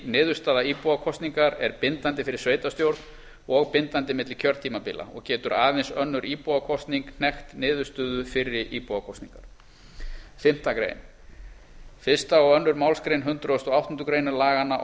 niðurstaða íbúakosningar er bindandi fyrir sveitarstjórn og bindandi milli kjörtímabila og getur aðeins önnur íbúakosning hnekkt niðurstöðu fyrri íbúakosningar fimmtu grein fyrsta og annarri málsgrein hundrað og áttundu grein laganna